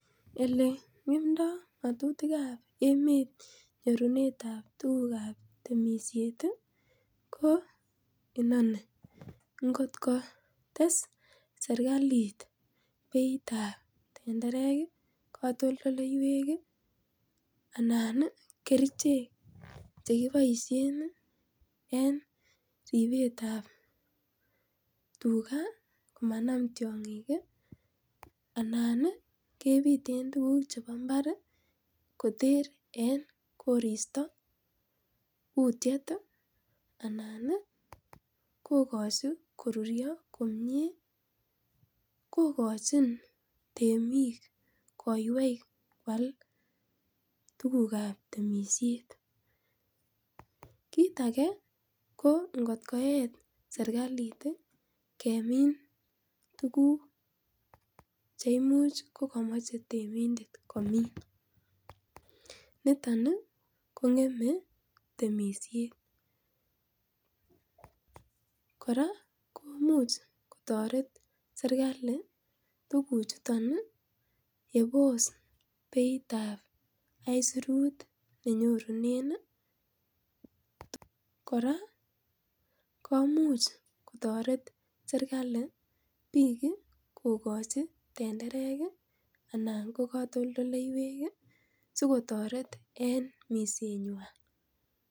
Ele nge'emda ng'atutikab emet nyorunetab tugukab temisiet ih ko inoni, ingot ko tes sirkalit betab tetenderek ak anan kerichek chekiboisien en ribsetab tuga ih komanam tiang'ik ih anan ih kebiten tuguk chebo imbar kouu kutiet ih anan kokochi korurio komie kokochin temik koiwei koal tukukab temisiet. Kit age ko ingot koet serkalit ih kemine tuguk cheimuch kamache temindet komin niton ih kong'eme temisiet. Kora komuch kotaret serkali tukuchuton ih yebos beitab aisurut nenyorunen ih kora komuch kotaret serkali bik kokachi tenderek anan katoltolleywek sokkachi sikotoret en minset nyuan